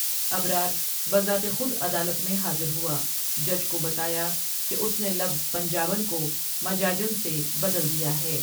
ابرار بذات خود عدالت میں حاضر ہوا جج کو بتایا کہ اس نے لفظ پنجابن کو مجاجن سے بدل دیا ہے ۔